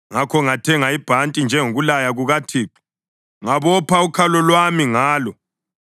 Ngakho ngathenga ibhanti, njengokulaya kukaThixo, ngabopha ukhalo lwami ngalo.